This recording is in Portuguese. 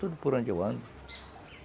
Tudo por onde eu ando.